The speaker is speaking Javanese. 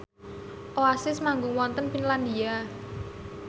Oasis manggung wonten Finlandia